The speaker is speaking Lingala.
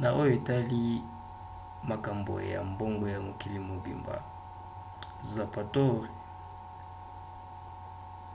na oyo etali makambo ya mbongo ya mokili mobimba zapatero